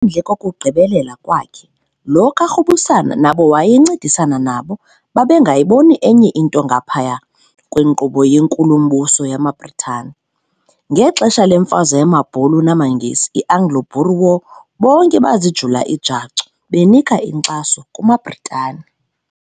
Ngaphandle kokugqibelela kwakhe, lo kaRubusana nabo wayencedisana nabo babe ngayiboni enye into ngaphaya kwenkqubo yenkulu-mbuso yamaBritani. Ngexesha lemfazwe yamabhulu namaNgesi, iAnglo- Boer War bonke bazijula ijacu benika inkxaso kumaBritani.